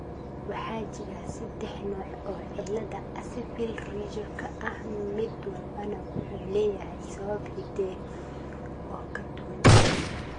Waxaa jira saddex nooc oo cilada Axenfeld Riegerka ah mid walbana wuxuu leeyahay sabab hidde oo ka duwan.